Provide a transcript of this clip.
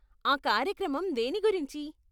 ఆ కార్యక్రమం దేని గురించి?